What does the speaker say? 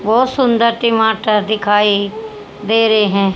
बहुत सुंदर टमाटर दिखाई दे रहे हैं।